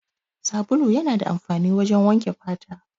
Sabulu yana da amfani wajen wanke fata.